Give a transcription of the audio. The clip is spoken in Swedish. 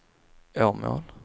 Åmål